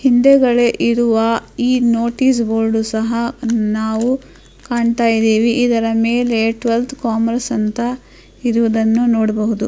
ಹಿಂದೆಗಳೇ ಇರುವ ಈ notice board ಸಹ ನಾವು ಕಾಣ್ತಾ ಇದೀವಿ ಇದರ ಮೇಲೆ ಟವೆಲ್ತ್ ಕಾಮರ್ಸ್ ಅಂತ ಇರುವುದನ್ನ ನಾವು ನೋಡಬಹುದು.